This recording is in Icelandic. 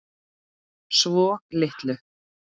Svo litlu.